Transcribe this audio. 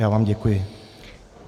Já vám děkuji.